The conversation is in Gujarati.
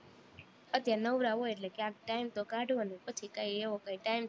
અત્યારે નવરા હોય એટલે ક્યાંક time તો કાઢવો ને પછી કઈ એવો કાઈ time